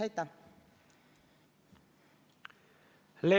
Leo Kunnas, palun!